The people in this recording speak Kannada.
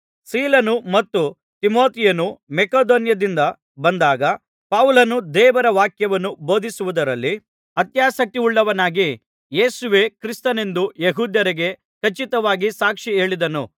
ಸೀಲನೂ ಮತ್ತು ತಿಮೊಥೆಯನೂ ಮಕೆದೋನ್ಯದಿಂದ ಬಂದಾಗ ಪೌಲನು ದೇವರ ವಾಕ್ಯವನ್ನು ಬೋಧಿಸುವುದರಲ್ಲಿ ಅತ್ಯಾಸಕ್ತಿಯುಳ್ಳವನಾಗಿ ಯೇಸುವೇ ಕ್ರಿಸ್ತನೆಂದು ಯೆಹೂದ್ಯರಿಗೆ ಖಚಿತವಾಗಿ ಸಾಕ್ಷಿಹೇಳಿದನು